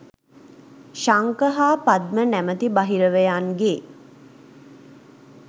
ශංඛ හා පද්ම නමැති බහිරවයන්ගේ